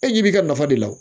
E ɲɛ b'i ka nafa de la